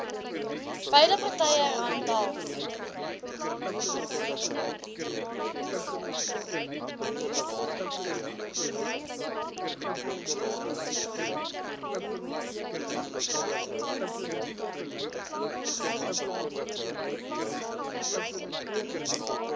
beide partye randall